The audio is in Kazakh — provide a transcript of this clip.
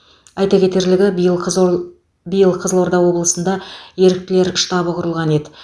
айта кетерлігі биыл қызылор биыл қызылорда облысында еріктілер штабы құрылған еді